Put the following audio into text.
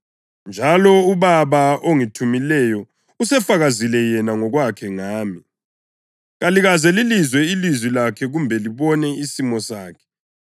Njalo uBaba ongithumileyo usefakazile yena ngokwakhe ngami. Kalikaze lilizwe ilizwi lakhe kumbe libone isimo sakhe